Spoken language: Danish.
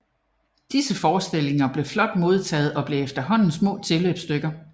Disse forestillinger blev flot modtagede og blev efterhånden små tilløbsstykker